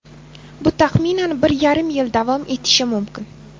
Bu taxminan bir yarim yil davom etishi mumkin.